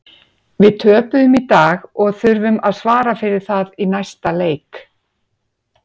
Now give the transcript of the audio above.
Við töpuðum í dag og þurfum að svara fyrir það í næsta leik.